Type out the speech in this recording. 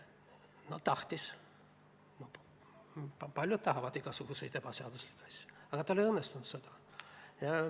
No tahtis – paljud tahavad igasuguseid ebaseaduslikke asju –, aga tal ei õnnestunud.